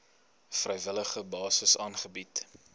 vrywillige basis aangebied